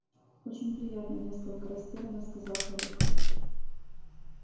очень приятно несколько растерянно сказал хорёк